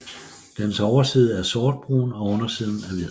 Dens overside er sortbrun og undersiden er hvid